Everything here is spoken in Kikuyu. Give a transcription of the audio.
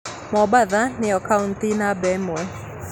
Mombatha nĩyo kautĩ namba ĩmwe